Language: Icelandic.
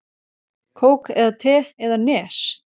Kók eða te eða Nes?